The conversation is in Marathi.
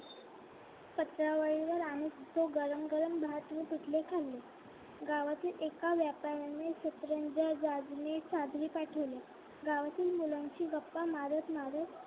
पत्रावळी वर आम्ही ते गरम गरम भात व पिठले खाल्ले गावातील एका व्यापाऱ्याने सतरंजा चादरी पाठवल्या गावातील मुलांशी गप्पा मारत मारत